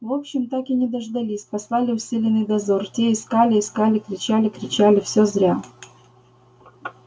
в общем так и не дождались послали усиленный дозор те искали искали кричали кричали всё зря